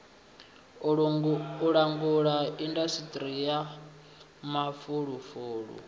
langula indasiṱiri ya mafulufulu u